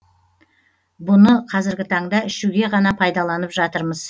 бұны қазіргі таңда ішуге ғана пайдаланып жатырмыз